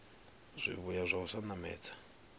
zwivhuya zwa u sa namedza